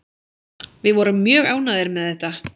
Við vorum mjög ánægðir með þetta